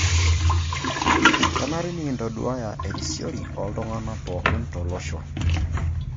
Kenare nikintaduaya erisiori ooltung'anak pooki tolosho